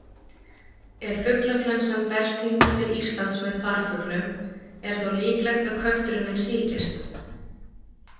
Ef fuglaflensan berst hingað til Íslands með farfuglum, er þá líklegt að kötturinn minn sýkist?